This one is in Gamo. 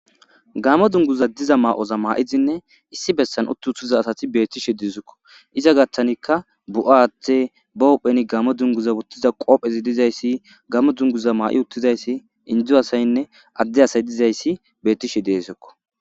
gamo dunguza diza maa7oza maa7izinne issi bessan uttu uthiza asati beettishe dizukko iza gattanikka bu7a athe ba huhpheni gamo dunguza uttiza qoophezi dizayssi gammo dunguza maa7i uttizayssi indzu asaynne adde asay dizayssi bettishe deesokko